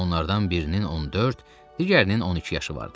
Onlardan birinin 14, digərinin 12 yaşı vardı.